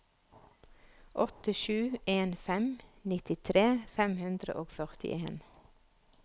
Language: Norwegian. åtte sju en fem nittitre fem hundre og førtien